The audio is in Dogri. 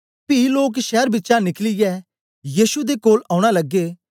पी लोक शैर बिचा निकलियै येशु दे कोल औना लगे